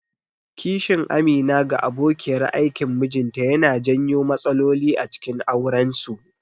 Kishin Amina ga abokiyar aikin mijinta yana janyo matsaloli acikin aurensu.